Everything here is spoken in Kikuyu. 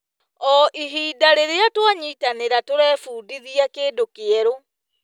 O ihinda rĩrĩa twanyitanĩra, tũrebundithia kĩndũ kĩerũ.